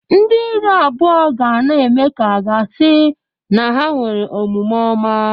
Ndị iru abụọ ga na-eme ka aga-asị na ha nwere omume ọma.